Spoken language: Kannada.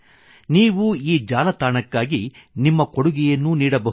ನೀವು ಈ ಜಾಲತಾಣಕ್ಕಾಗಿ ವೆಬ್ಸೈಟ್ ನಿಮ್ಮ ಕೊಡುಗೆಯನ್ನೂ ನೀಡಬಹುದು